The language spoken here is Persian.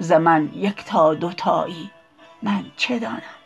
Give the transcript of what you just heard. ز من یکتا دو تایی من چه دانم